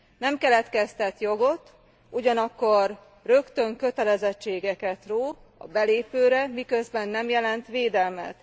Nem keletkeztet jogot, ugyanakkor rögtön kötelezettségeket ró a belépőre, miközben nem jelent védelmet.